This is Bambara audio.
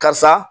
Karisa